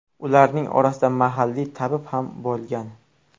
Ularning orasida mahalliy tabib ham bo‘lgan.